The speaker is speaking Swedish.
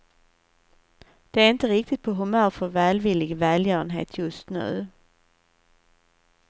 De är inte riktigt på humör för välvillig välgörenhet just nu.